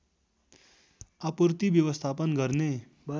आपूर्ति व्यवस्थापन गर्ने